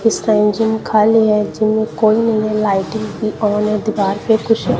astringent खाली है जिनमें कोई है लाइटिंग भी ऑन है दीवार पे कुछ--